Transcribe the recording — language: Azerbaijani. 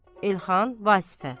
Elxan, Vasıfə.